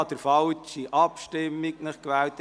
Ich habe den falschen Abstimmungsmodus gewählt.